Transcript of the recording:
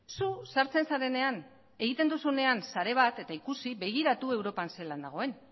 zu sartzen zarenean egiten duzunean sare bat eta ikusi begiratu europan zelan dagoen